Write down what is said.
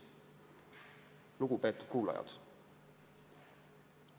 Lugupeetud kuulajad!